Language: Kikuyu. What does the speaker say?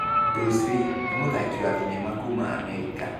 Bruce Lee, nĩ mũthaki wa thenema kuuma Amerika.